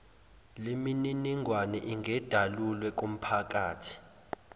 lemininingwane ingedalulwe kumphakathi